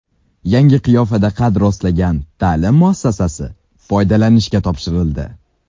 Yangi qiyofada qad rostlagan ta’lim muassasasi foydalanishga topshirildi.